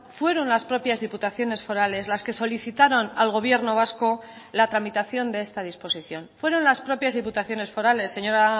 fueron las propias diputaciones forales las que solicitaron al gobierno vasco la tramitación de esta disposición fueron las propias diputaciones forales señora